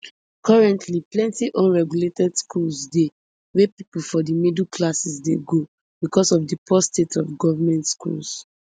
currently plenty unregulated schools dey wey pipo for di middle classes dey go becos of di poor state of goment schools